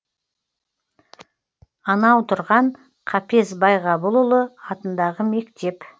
анау тұрған қапез байғабылұлы атындағы мектеп